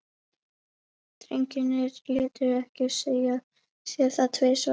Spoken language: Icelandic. Drengirnir létu ekki segja sér það tvisvar.